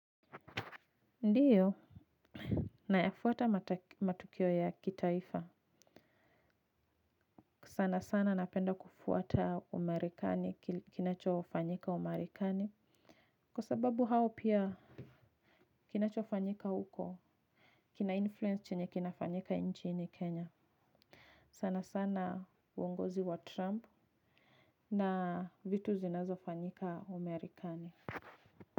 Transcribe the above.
Ndiyo, nayafuata matukio ya kitaifa. Sana sana napenda kufuata umarekani kinachofanyika umarekani. Kwa sababu hao pia kinachofanyika huko kina influence chenye kinafanyika nchini Kenya. Sana sana uongozi wa Trump na vitu zinazofanyika umarekani.